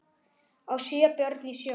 á sjö börn í sjó